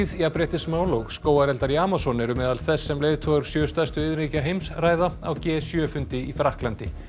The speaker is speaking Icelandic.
jafnréttismál og skógareldar í Amazon eru meðal þess sem leiðtogar sjö stærstu iðnríkja heims ræða á g sjö fundi í Frakklandi